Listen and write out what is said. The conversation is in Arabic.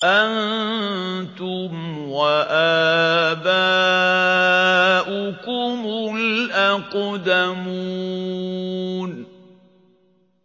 أَنتُمْ وَآبَاؤُكُمُ الْأَقْدَمُونَ